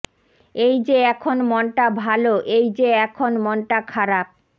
এই যে এখন মনটা ভালো এই যে এখন মনটা খারাপ